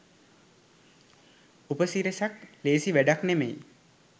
උපසිරැස ක් ලේසි වැඩක් නෙමෙයි